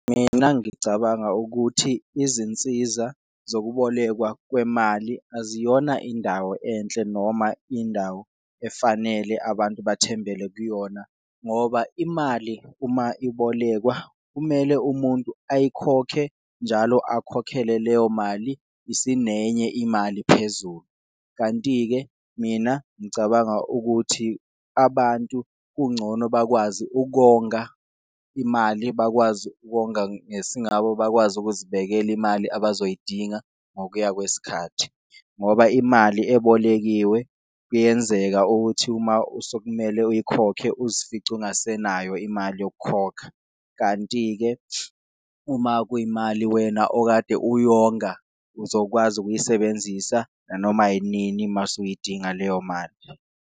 Mina ngicabanga ukuthi izinsiza zokubolekwa kwemali aziyona indawo enhle noma indawo efanele abantu bathembele kuyona, ngoba imali uma ibolekwa kumele umuntu ayikhokhe, njalo akhokhele leyo mali isinenye imali phezulu. Kanti-ke, mina ngicabanga ukuthi abantu kungcono bakwazi ukonga imali, bakwazi ukonga ngesingabo, bakwazi ukuzibekela imali abazoyidinga ngokuya kwesikhathi ngoba imali ebolekiwe kuyenzeka ukuthi uma sokumele ayikhokhe uzosifice ongasenayo imali yokukhokha. Kanti-ke, uma kuyimali wena okade uyonga uzokwazi ukuyisebenzisa nanoma inini mase uyidinga leyo mali.